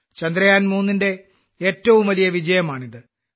ചന്ദ്രയാൻ 3 ന്റെ ഏറ്റവും വലിയ വിജയമാണിത്